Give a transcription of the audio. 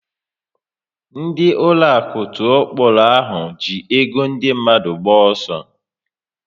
Ndị ụlọaku tụọ kpọrọ ahụ ji ego ndị mmadụ gba ọsọ